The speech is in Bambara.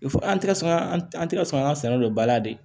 Fo an tɛ ka sɔn an tɛ ka sɔn an ka sɛnɛ don ba la de